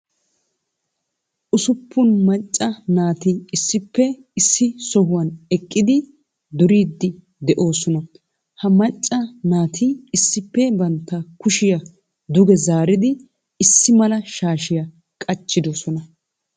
Usuppun macca naati issippe issi sohuwan eqqidi duriidi de'oosona. Ha macca naati issippe bantta kushiya duge zaaridi issi mala shaashiya qacciddosona.